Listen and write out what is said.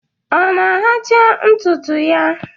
Ọ na-ahacha ntụtụ ya?